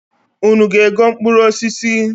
Unu ga-ego mkpụrụ osis?